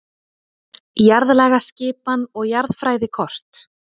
Jarðlagaskipan og jarðfræðikort.